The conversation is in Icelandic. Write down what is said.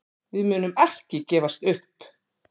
Við munum ekki gefast upp.